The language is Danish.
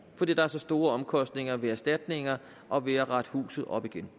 fordi der er så store omkostninger ved erstatningerne og ved at rette huset op igen